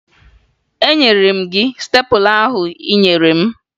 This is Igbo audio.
Enyere m gị stepụla ahụ ị nyere m?